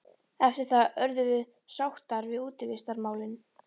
Eftir það urðum sáttar við útivistarmálin.